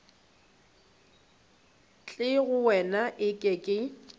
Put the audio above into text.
tle go wena eke ke